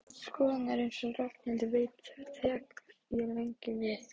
Skoðun, en eins og Ragnhildur veit tek ég lengi við.